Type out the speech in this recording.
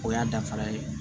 O y'a dafara ye